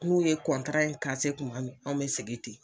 N'u ye in kuma min anw be segin ten.